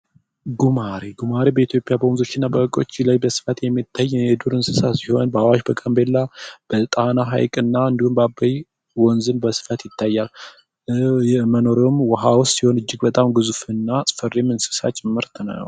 ጉማሬ: ጉማሬ በኢትዮጵያ በወንዞች እና ሀይቆች ላይ የሚታይ የዱር እንስሳ ሲሆን በአዋሽ በጋንቤላ በጣና ሀይቅና እንዲሁም በአበይ ወንዝም በስፋት በስፋት ይታያል ። መኖሪያዉም ዉሀ ዉስጥ ሲሆን እጅግ ግዙፍና አስፈሪ እንስሳት ጭምር ነዉ።